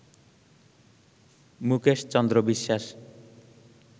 Mukesh Chandra Biswas